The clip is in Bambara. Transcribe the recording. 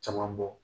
Caman bɔ